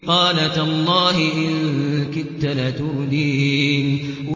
قَالَ تَاللَّهِ إِن كِدتَّ لَتُرْدِينِ